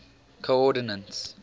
coordinates